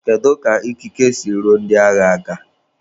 Kedu ka ikike si ruo ndị agha aka?